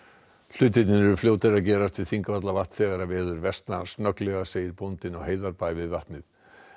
hlutirnir eru fljótir að gerast við Þingvallavatn þegar veður versnar snögglega segir bóndinn á Heiðarbæ við vatnið